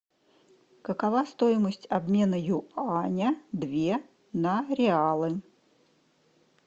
какова стоимость обмена юаня две на реалы